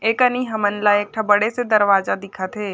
ए कनि हमन ला एक ठ बड़े से दरवाजा दिखत हे।